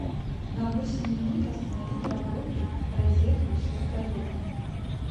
на восемь минут остановить работу розетку с вертолетом